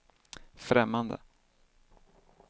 främmande